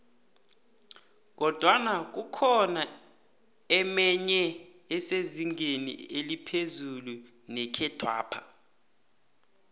kodwana kukhona emenye esezingeni eliphezu nekhethwapha